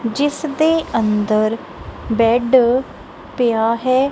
ਜਿਸ ਦੇ ਅੰਦਰ ਬੈਡ ਪਿਆ ਹੈ।